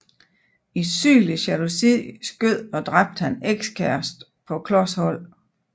I sygelig jalousi skød og dræbte han ekskæresten på klos hold